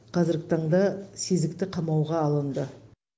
қазіргі таңда сезікті қамауға алынды